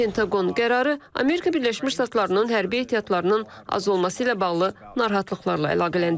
Pentaqon qərarı Amerika Birləşmiş Ştatlarının hərbi ehtiyatlarının az olması ilə bağlı narahatlıqlarla əlaqələndirib.